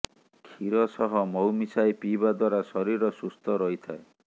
କ୍ଷୀର ସହ ମହୁ ମିଶାଇ ପିଇବା ଦ୍ବାରା ଶରୀର ସୁସ୍ଥ ରହିଥାଏ